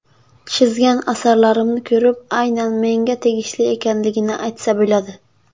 Chizgan asarlarimni ko‘rib aynan menga tegishli ekanligini aytsa bo‘ladi.